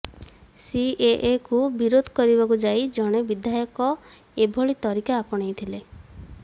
ସିଏଏକୁ ବିରୋଧ କରିବାକୁ ଯାଇ ଜଣେ ବିଧାୟକ ଏଭଳି ତରିକା ଆପଣେଇଥିଲେ